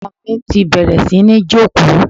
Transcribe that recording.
Ọmọ mi ti bẹ̀rẹ̀ sí ní jókòó.